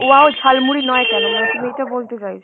wow jhalmuri নয় কেন মানে তুমি এইটা বলতে চাইছো